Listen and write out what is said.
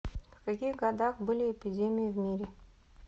в каких годах были эпидемии в мире